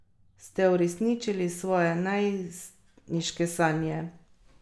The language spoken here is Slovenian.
Ste uresničili svoje najstniške sanje?